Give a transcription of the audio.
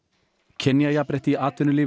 kynjajafnrétti í atvinnulífinu